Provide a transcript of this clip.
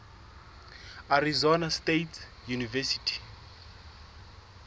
arizona state university